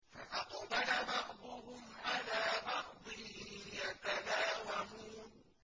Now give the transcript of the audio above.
فَأَقْبَلَ بَعْضُهُمْ عَلَىٰ بَعْضٍ يَتَلَاوَمُونَ